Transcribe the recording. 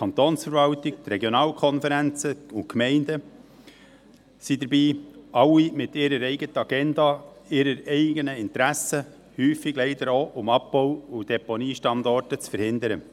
Die Kantonsverwaltung, die Regionalkonferenzen und Gemeinden sind dabei – alle mit ihrer eigenen Agenda und ihren eigenen Interessen, häufig leider auch, um Abbau- und Deponiestandorte zu verhindern.